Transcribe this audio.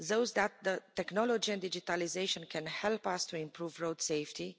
That technology and digitalisation can help us to improve road safety.